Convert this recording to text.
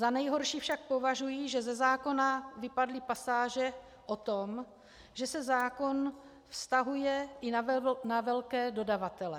Za nejhorší však považuji, že ze zákona vypadly pasáže o tom, že se zákon vztahuje i na velké dodavatele.